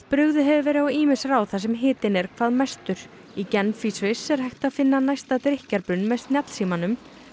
brugðið hefur verið á ýmis ráð þar sem hitinn er hvað mestur í Genf í Sviss er hægt að finna næsta drykkjarbrunn með snjallsímanum